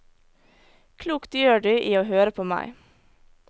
Klokt gjør du i å høre på meg.